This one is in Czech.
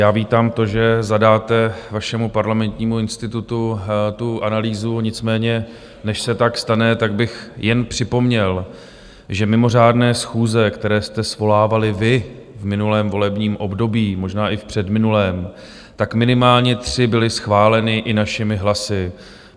Já vítám to, že zadáte vašemu Parlamentnímu institutu tu analýzu, nicméně než se tak stane, tak bych jen připomněl, že mimořádné schůze, které jste svolávali vy v minulém volebním období, možná i v předminulém, tak minimálně tři byly schváleny i našimi hlasy.